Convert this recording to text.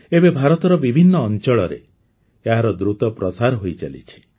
ଏବେ ଭାରତର ବିଭିନ୍ନ ଅଞ୍ଚଳରେ ଏହାର ଦ୍ରୁତ ପ୍ରସାର ହୋଇଚାଲିଛି